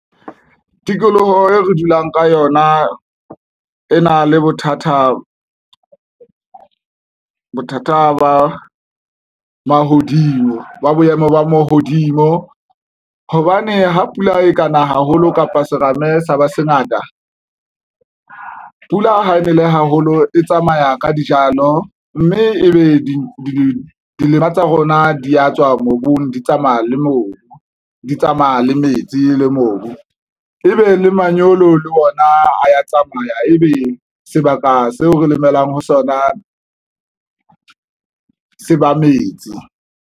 Tikoloho e re dulang ka yona e na le bothata ba mahodimo ba boemo ba mahodimo hobane ha pula e kana haholo kapa serame sa ba se ngata, pula ha e nele haholo e tsamaya ka dijalo mme ebe dimela tsa rona di ya tswa mobung, di tsamaya le mobu, di tsamaya le metsi le mobu e be le manyolo le ona a ya tsamaya. Ebe sebaka seo re lemelang ho sona se ba metsi.